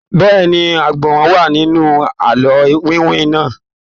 Bẹ́ẹ̀ni, ọgbọ́n wà nínú àlọ́ iwin náà.